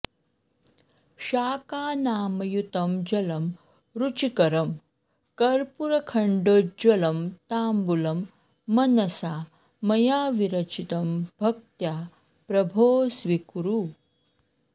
शाकानामयुतं जलं रुचिकरं कर्पूरखण्डोज्ज्वलं ताम्बूलं मनसा मया विरचितं भक्त्या प्रभो स्वीकुरु